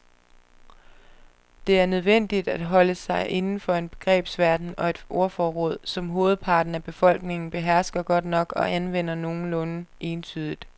Det er nødvendigt at holde sig inden for en begrebsverden og et ordforråd, som hovedparten af befolkningen behersker godt nok og anvender nogenlunde entydigt.